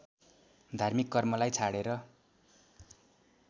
धार्मिक कर्मलाई छाडेर